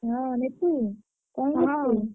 ହଁ ମିକି କଣ କରୁଛୁ? ।